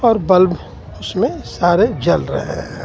और बल्ब उसमें सारे जल रहे हैं.